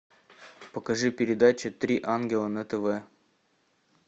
покажи передачу три ангела на тв